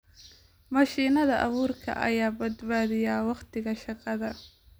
Mashiinada abuurka ayaa badbaadiya wakhtiga shaqada.